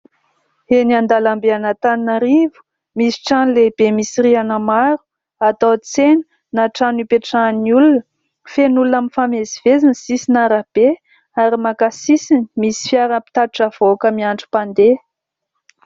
Eny an-dalambe an'Antananarivo, misy trano lehibe misy rihana maromaro atao tsena na trano ipetrahan'ny olona. Feno olona mifamezivezy ny sisin'arabe ary maka sisiny, misy fiara mpitatitra vahoaka miandry mpandeha.